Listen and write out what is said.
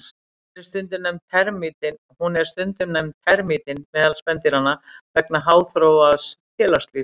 Hún er stundum nefnd termítinn meðal spendýranna vegna háþróaðs félagslífs.